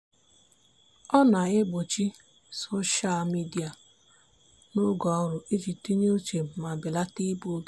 ọ na-egbochi soshal midịa n'oge ọrụ iji tinye uche ma belata igbu oge.